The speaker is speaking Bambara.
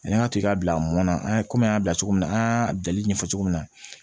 Ani an ka to ka bila mɔnna an ye komi an y'a bila cogo min na an y'a jali ɲɛfɔ cogo min na